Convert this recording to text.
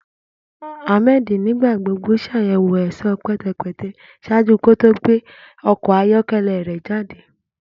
Ahmed nigbagbogbo ṣayẹwo ẹṣọ pẹtẹpẹtẹ ṣaaju ki o to gbe ọkọ ayọkẹlẹ rẹ jade.